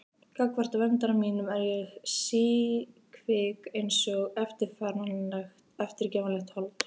Gagnvart verndara mínum er ég síkvik einsog eftirgefanlegt hold.